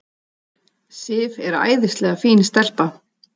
Sif er æðislega fín stelpa.